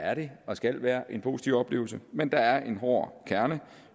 er det og skal være en positiv oplevelse men der er en hård kerne